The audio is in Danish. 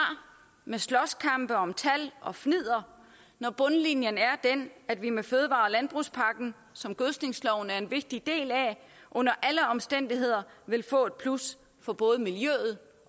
med slåskampe om tal og med fnidder når bundlinjen er den at vi med fødevare og landbrugspakken som gødsningsloven er en vigtig del af under alle omstændigheder vil få et plus for både miljøet